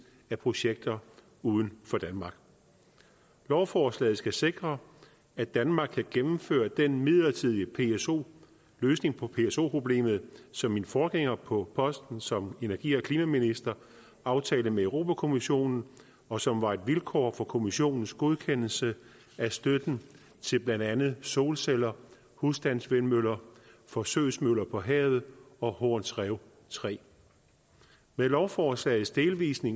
af projekter uden for danmark lovforslaget skal sikre at danmark kan gennemføre den midlertidige løsning på pso problemet som min forgænger på posten som energi og klimaminister aftalte med europa kommissionen og som var et vilkår for kommissionens godkendelse af støtten til blandt andet solceller husstandsvindmøller forsøgsmøller på havet og horns rev tredje med lovforslagets delvise